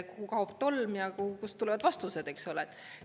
Kuhu kaob tolm ja kust tulevad vastused, eks ole.